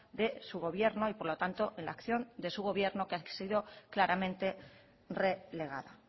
de su gobierno y por lo tanto en la acción de su gobierno que ha sido claramente relegada